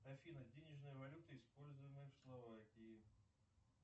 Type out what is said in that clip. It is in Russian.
афина денежная валюта используемая в словакии